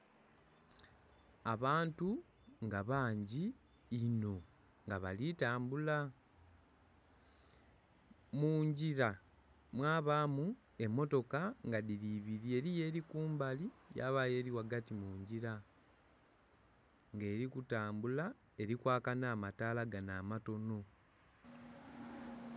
Abantu nga bangi inho nga bali tambula, mungila mwabamu emotoka nga dhili ibiri. Eriyo eri kubali yabayo eri ghagati mungila nga eri kutambula eri kwaka nha mataala ganho akatonho.